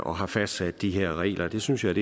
og har fastsat de her regler det synes jeg